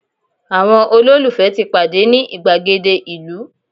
àwọn ololufe ti pade ni igbagede ìlú